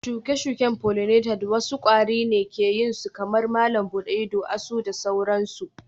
shuke-shuke pollinated wasu kwari ne ke yin su kamar malam buɗe ido, asu da sauransu